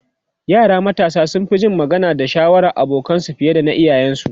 yara matasa sun Fi Jin magana da shawarar abokanansu fiye da na iyayen su